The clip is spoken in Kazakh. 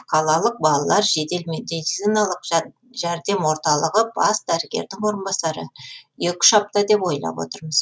қалалық балалар жедел медициналық жәрдем орталығы бас дәрігердің орынбасары екі үш апта деп ойлап отырмыз